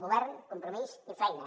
govern compromís i feina